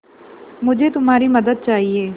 मुझे तुम्हारी मदद चाहिये